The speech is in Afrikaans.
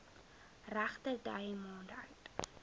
regterdy maande oud